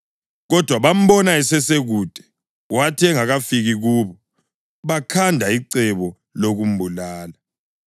Kodwa bambona esesekude, wathi engakafiki kubo, bakhanda icebo lokumbulala.